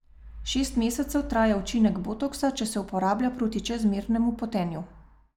Šest mesecev traja učinek botoksa, če se uporablja proti čezmernemu potenju.